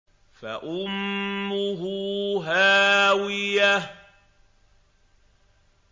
فَأُمُّهُ هَاوِيَةٌ